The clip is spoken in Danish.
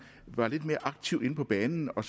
var lidt mere aktive inde på banen og